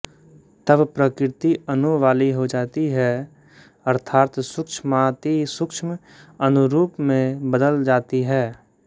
तब प्रकृति अणु वाली हो जाती है अर्थात सूक्ष्मातिसूक्ष्म अणुरूप में बदल जाती है